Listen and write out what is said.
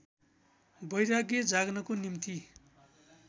वैराग्य जाग्नको निम्ति